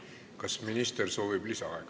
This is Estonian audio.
Kas minister soovib lisaaega?